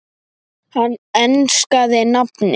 Hann enskaði nafnið